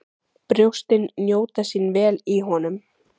Brjóstin njóta sín vel í honum.